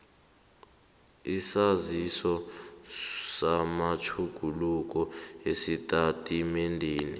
isaziso samatjhuguluko esitatimendeni